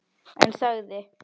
En þagði.